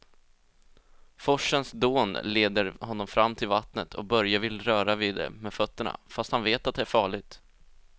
Forsens dån leder honom fram till vattnet och Börje vill röra vid det med fötterna, fast han vet att det är farligt.